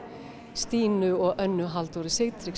Stínu og Önnu Halldóru